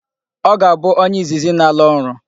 Ọ ga-abụ onye izizi n'ala ọrụ.